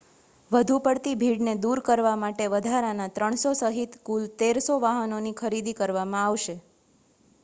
વધુ પડતી ભીડને દૂર કરવા માટે વધારાના 300 સહિત કુલ 1,300 વાહનોની ખરીદી કરવામાં આવશે